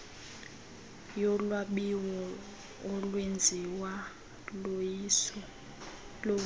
yolwabiwo olwenziwo luwiso